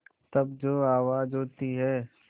तब जो आवाज़ होती है